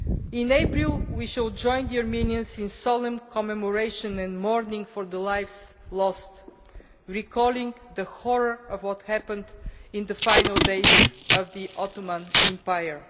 In April we shall join the Armenians in solemn commemoration and mourning for the lives lost, recalling the horror of what happened in the final days of the Ottoman Empire.